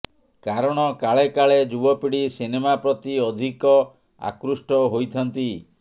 କାରଣ କାଳେ କାଳେ ଯୁବପିଢ଼ି ସିନେମା ପ୍ରତି ଅଧିକ ଆକୃଷ୍ଠ ହୋଇଥାନ୍ତି